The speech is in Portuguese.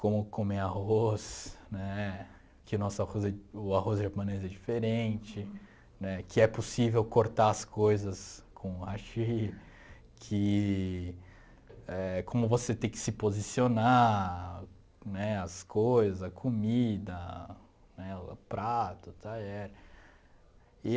como comer arroz, né, que nosso arroz o arroz japonês é diferente, né que é possível cortar as coisas com o hashi, que...éh como você tem que se posicionar, né as coisa, a comida, prato, talher e